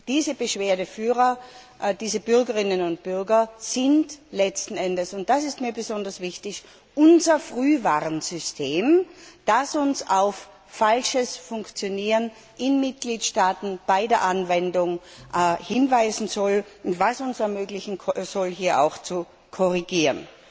Diese Beschwerdeführer, diese Bürgerinnen und Bürger, sind letzten Endes und das ist mir besonders wichtig unser Frühwarnsystem, das uns auf falsches Funktionieren in Mitgliedstaaten bei der Anwendung hinweisen und uns ermöglichen soll, hier auch zu korrigieren.